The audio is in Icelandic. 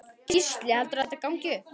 Gísli: Heldurðu að þetta gangi upp?